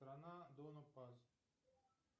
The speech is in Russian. страна дона пас